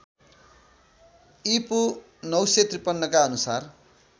ईपू ९५३ का अनुसार